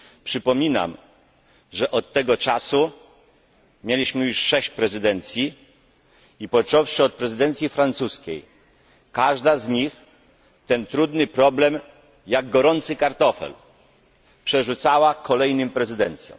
Przypominam, że od tego czasu mieliśmy już sześć prezydencji i, począwszy od prezydencji francuskiej, każda z nich ten trudny problem jak gorący kartofel przerzucała kolejnym prezydencjom.